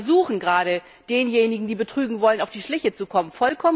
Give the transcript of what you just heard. Wir müssen versuchen, gerade denjenigen, die betrügen wollen, auf die Schliche zu kommen.